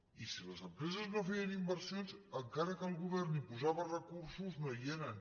i si les empreses no feien inver sions encara que el govern hi posava recursos no hi eren